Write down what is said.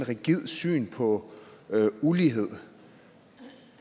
rigidt syn på ulighed